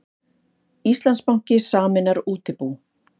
Íslandsbanki sameinar útibú